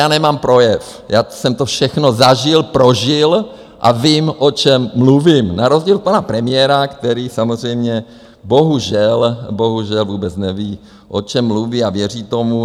Já nemám projev, já jsem to všechno zažil, prožil a vím, o čem mluvím, na rozdíl od pana premiéra, který samozřejmě bohužel vůbec neví, o čem mluví a věří tomu.